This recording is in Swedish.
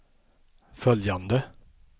följande